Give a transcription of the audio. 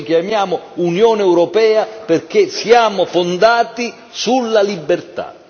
Ci chiamiamo Unione europea perché siamo fondati sulla libertà.